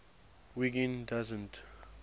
wiggin doesn t